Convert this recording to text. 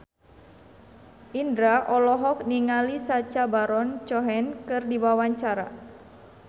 Indro olohok ningali Sacha Baron Cohen keur diwawancara